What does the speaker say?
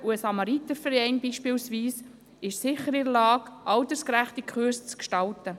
Ein Samariterverein beispielsweise ist sicher in der Lage, altersgerechte Kurse zu gestalten.